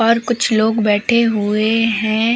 और कुछ लोग बैठे हुए हैं।